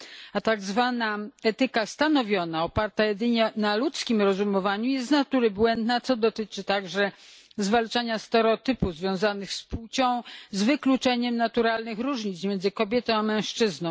A tak zwana etyka stanowiona, oparta jedynie na ludzkim rozumowaniu jest z natury błędna, co dotyczy także zwalczania stereotypów związanych z płcią, z wykluczeniem naturalnych różnic między kobietą a mężczyzną.